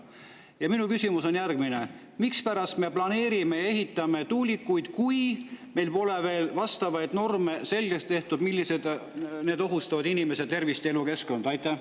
Ja minu küsimus on järgmine: mispärast me planeerime ja ehitame tuulikuid, kui meil pole veel vastavaid norme, mis ohustab inimeste tervist ja elukeskkonda?